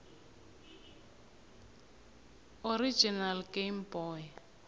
original game boy